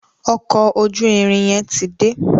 Ọkọ̀ ojú-irin yen tí dé.